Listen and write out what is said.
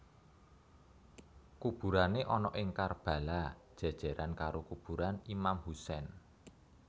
Kuburané ana ing Karbala jèjèran karo kuburan Imam Hussein